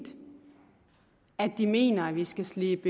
at de mener at vi skal slippe